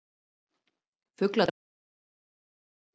Fuglar drápust líklega úr hræðslu